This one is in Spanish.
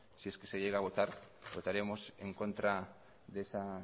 si es que se llega a votar votaríamos en contra de esa